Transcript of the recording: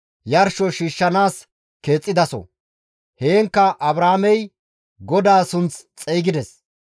yarsho shiishshanaas keexxidaso; heenkka Abraamey GODAA sunth xeygides.